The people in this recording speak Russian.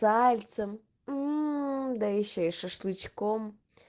сальцем мм да ещё и шашлыком